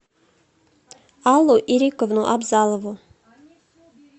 аллу ирековну абзалову